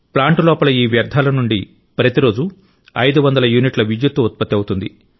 plant లోపల ఈ వ్యర్థాల నుండి ప్రతిరోజూ 500 యూనిట్ల విద్యుత్తు ఉత్పత్తి అవుతుంది